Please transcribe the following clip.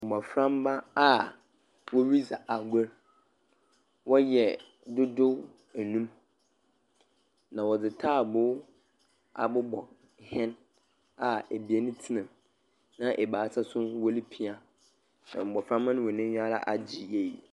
Mbɔframba a pii ridzi agor, wɔyɛ dodow enum, a wɔdze taabow abobɔ hɛn a ebien tsena mu na ebiasa so woripia. Na mbɔframba no hɔn enyiwa agye yie.